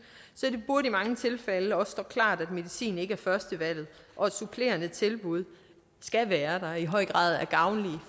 så det burde i mange tilfælde også stå klart at medicin ikke er førstevalget og at supplerende tilbud skal være der og i høj grad er gavnlige